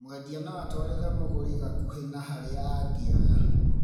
Mwendia noatwarĩre mũgũri gakuhĩ na harĩa angĩoya